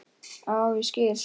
Ó, ég skil!